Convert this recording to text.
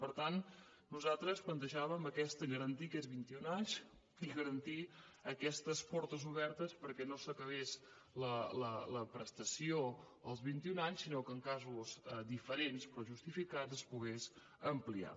per tant nosaltres plantejàvem garantir aquests vint i un anys i garantir aquestes portes obertes perquè no s’acabés la prestació als vint i un anys sinó que en casos diferents però justificats es pogués ampliar